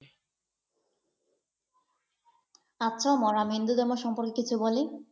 আচ্ছা মোরা হিন্দু ধর্ম সম্পর্কে কিছু বলি?